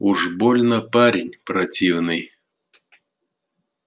уж больно парень противный